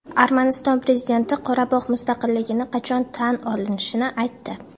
Armaniston prezidenti Qorabog‘ mustaqilligini qachon tan olishini aytdi.